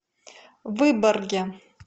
выборге